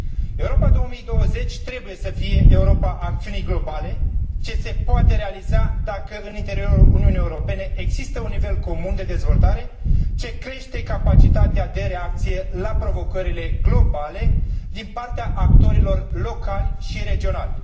Europa 2020 trebuie să fie Europa acțiunii globale ce se poate realiza dacă, în interiorul Uniunii Europene, există un nivel comun de dezvoltare ce crește capacitatea de reacție la provocările globale din partea actorilor locali și regionali.